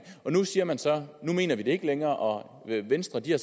nu siger man så det mener vi ikke længere og venstre har